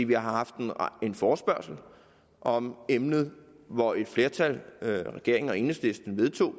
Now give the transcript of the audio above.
vi har haft en forespørgsel om emnet hvor et flertal regeringen og enhedslisten vedtog